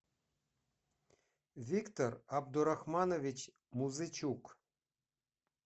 виктор абдурахманович музычук